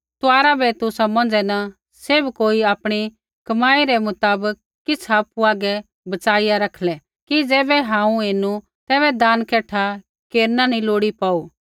तुआरा बै तुसा मौंझ़ै न सैभ कोई आपणी कमाई रै मुताबक किछ़ आपु हागै बचाईया रखलै कि ज़ैबै हांऊँ ऐणु ता तैबै दान कठा केरना नी लोड़ी पोऊ